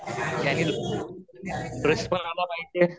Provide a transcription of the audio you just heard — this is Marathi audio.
ज्याने लोकांना इंटरेस्ट पण आला पाहिजे